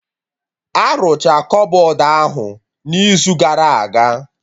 Arụcha kọbọd ahụ n'izu gara aga